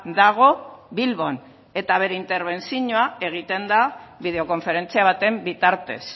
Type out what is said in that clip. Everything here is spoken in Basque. dago bilbon eta bere interbentzioa egiten da bideo konferentzia baten bitartez